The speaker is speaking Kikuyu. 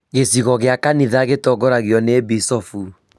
Gĩcigo gĩa kanitha gĩtongoragio nĩ Bishopu